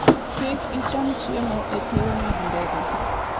Kik icham chiemo e pewe mag ndege.